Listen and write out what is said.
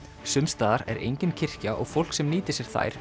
sums staðar er engin kirkja og fólk sem nýtir sér þær